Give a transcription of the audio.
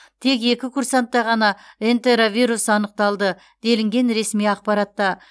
тек екі курсантта ғана энтеровирус анықталды делінген ресми ақпаратта